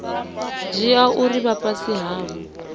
dzhia uri vha fhasi havho